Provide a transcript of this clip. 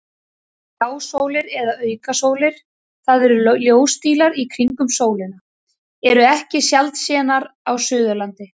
Hjásólir eða aukasólir, það eru ljósdílar í kringum sólina, eru ekki sjaldsénar á Suðurlandi.